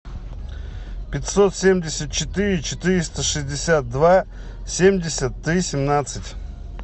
пятьсот семьдесят четыре четыреста шестьдесят два семьдесят три семнадцать